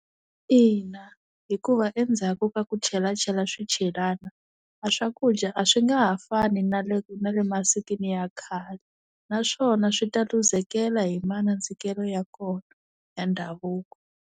Ina hikuva endzhaku ka ku chelachela swichelana a swakudya a swi nga ha fani na le na le masikwini ya khale naswona swi ta lose-kela hi manandzikelo ya kona ya ndhavuko.